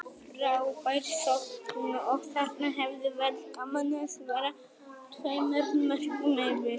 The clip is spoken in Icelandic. Frábær sókn og þarna hefði verið gaman að vera tveimur mörkum yfir.